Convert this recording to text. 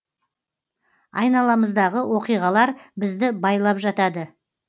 айналамыздағы оқиғалар бізді байлап жатады